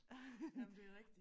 Jamen det er rigtigt